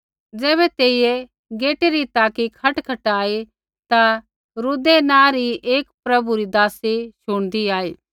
ज़ैबै तेइयै गेटै री ताकि खटखटाई ता रूदै नाँ री एक प्रभु री दासी शुणदी आई